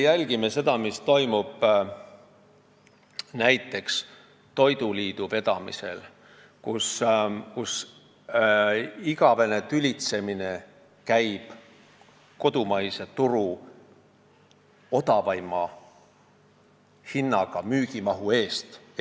Jälgime seda, mis toimub näiteks toiduliidu vedamisel: üks igavene tülitsemine käib odavaima hinnaga müügimahu üle kodumaisel turul.